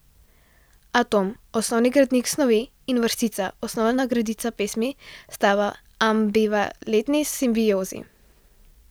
Atom, osnovni gradnik snovi, in vrstica, osnovna gredica pesmi, sta v ambivalentni simbiozi.